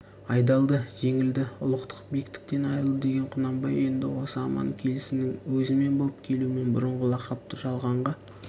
айдалды жеңілді ұлықтық бектіктен айрылды деген құнанбай енді осы аман келісінің өзімен боп келумен бұрынғы лақапты жалғанға